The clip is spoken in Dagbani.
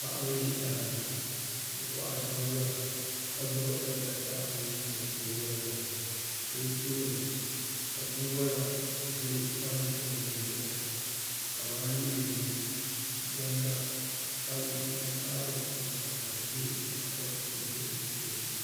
Paɣa n zi daa ni n kɔihiri bini wola ka gbubi alibasa o nuu ni n woligrili la o tooni ka bini wola bɛ paranntɛ mima zɛya ka maa leemu gonda kabieji mi karɔti nima ka di bɛ tahapɔ na ni bɛ o tooni.